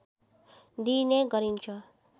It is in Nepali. दिइने गरिन्छ